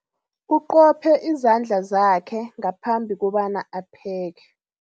Uqophe izandla zakhe ngaphambi kobana apheke.